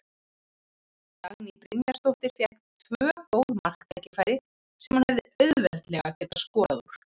Dagný Brynjarsdóttir fékk tvö góð marktækifæri sem hún hefði auðveldlega getað skorað úr.